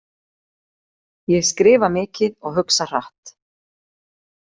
Ég skrifa mikið og hugsa hratt.